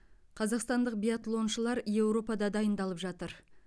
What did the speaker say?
қазақстандық биатлоншылар еуропада дайындалып жатыр